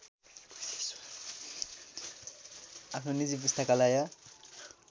आफ्नो निजी पुस्तकालय